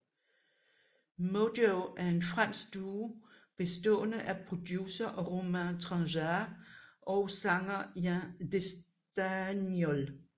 Modjo er en fransk duo bestående af producer Romain Tranchart og sanger Yann Destagnol